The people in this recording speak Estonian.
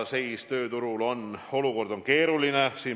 Seis tööturul on keeruline.